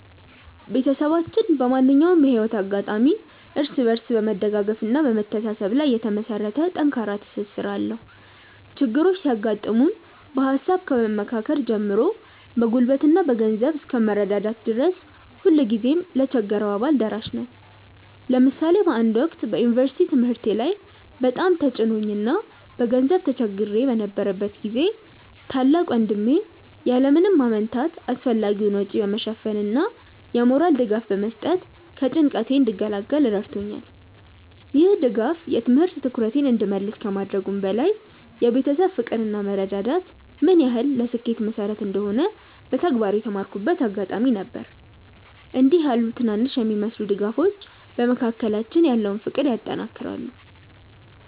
ቤተሰባችን በማንኛውም የህይወት አጋጣሚ እርስ በርስ በመደጋገፍና በመተሳሰብ ላይ የተመሰረተ ጠንካራ ትስስር አለው። ችግሮች ሲያጋጥሙ በሃሳብ ከመመካከር ጀምሮ በጉልበትና በገንዘብ እስከ መረዳዳት ድረስ ሁልጊዜም ለተቸገረው አባል ደራሽ ነን። ለምሳሌ በአንድ ወቅት በዩኒቨርሲቲ ትምህርቴ ላይ በጣም ተጭኖኝ እና በገንዘብ ተቸግሬ በነበረበት ጊዜ ታላቅ ወንድሜ ያለ ምንም ማመንታት አስፈላጊውን ወጪ በመሸፈን እና የሞራል ድጋፍ በመስጠት ከጭንቀቴ እንድገላገል ረድቶኛል። ይህ ድጋፍ የትምህርት ትኩረቴን እንድመልስ ከማድረጉም በላይ የቤተሰብ ፍቅር እና መረዳዳት ምን ያህል ለስኬት መሰረት እንደሆነ በተግባር የተማርኩበት አጋጣሚ ነበር። እንዲህ ያሉ ትናንሽ የሚመስሉ ድጋፎች በመካከላችን ያለውን ፍቅር ያጠናክራሉ።